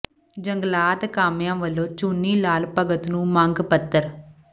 ਜੰਗਲਾਤ ਕਾਮਿਆਂ ਵੱਲੋਂ ਚੂਨੀ ਲਾਲ ਭਗਤ ਨੂੰ ਮੰਗ ਪੱਤਰ